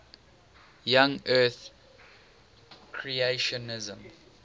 young earth creationism